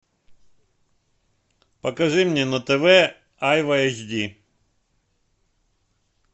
покажи мне на тв айва эйч ди